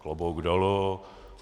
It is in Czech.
Klobouk dolů.